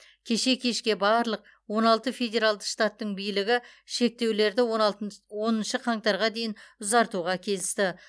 кеше кешке барлық он алты федералды штаттың билігі шектеулерді оныншы қаңтарға дейін ұзартуға келісті